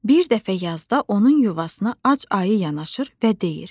Bir dəfə yazda onun yuvasına ac ayı yanaşır və deyir: